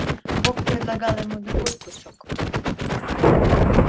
бог предлагал ему другой кусок